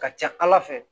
Ka ca ala fɛ